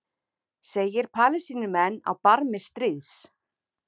Segir Palestínumenn á barmi stríðs